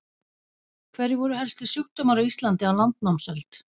Hverjir voru helstu sjúkdómar á Íslandi á landnámsöld?